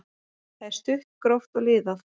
Það er stutt, gróft og liðað.